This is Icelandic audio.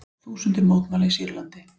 Þúsundir mótmæla í Sýrlandi